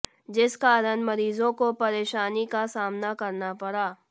जिस कारण मरीजों को परेशानी का सामना करना पड़ा